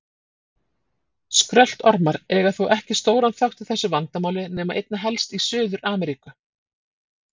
Skröltormar eiga þó ekki stóran þátt í þessu vandamáli nema einna helst í Suður-Ameríku.